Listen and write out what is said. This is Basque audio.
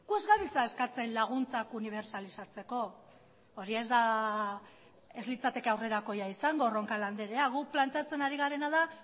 ez gabiltza eskatzen laguntzak unibertsalizatzeko hori ez litzateke aurrerakoia izango roncal andrea guk planteatzen ari garena da